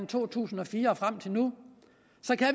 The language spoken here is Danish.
to tusind og fire og frem til nu